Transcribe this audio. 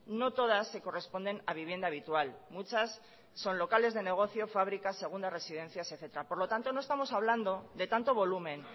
no todas se corresponden a vivienda habitual muchas son locales de negocio fábricas segundas residencias etcétera por lo tanto no estamos hablando de tanto volumen